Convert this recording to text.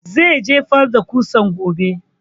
Zai jefar da ƙusan gobe